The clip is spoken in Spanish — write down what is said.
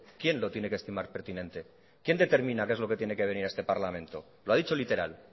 quién lo tiene que estimar pertinente quién determina que es lo que tiene que venir a este parlamento lo ha dicho literal